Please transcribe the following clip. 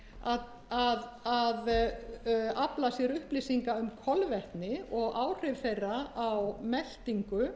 kona að afla sér upplýsinga um kolvetni og áhrif þeirra á meltingu